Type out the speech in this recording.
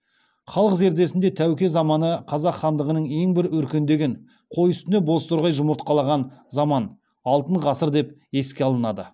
халық зердесінде тәуке заманы қазақ хандығының ең бір өркендеген қой үстіне бозторғай жұмыртқалаған заман алтын ғасыр деп еске алынады